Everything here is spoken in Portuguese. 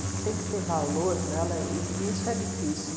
O que tem que ter valor para ela, e isso é difícil.